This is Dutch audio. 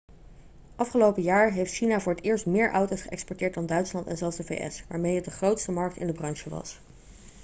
afgelopen jaar heeft china voor het eerst meer auto's geëxporteerd dan duitsland en zelfs de vs waarmee het de grootste markt in de branche was